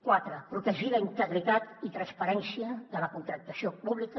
quatre protegir la integritat i transparència de la contractació pública